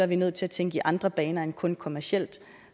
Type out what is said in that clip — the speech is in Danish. vi nødt til at tænke i andre baner end kun kommercielt